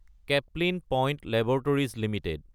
Caplin Point laboratories Ltd